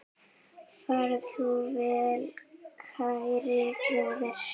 Far þú vel, kæri bróðir.